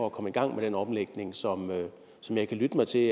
at komme i gang med den omlægning som som jeg kan lytte mig til